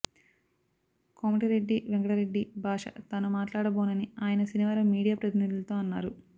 కోమటిరెడ్డి వెంకటరెడ్డి భాష తాను మాట్లాడబోనని ఆయన శనివారం మీడియా ప్రతినిధులతో అన్నారు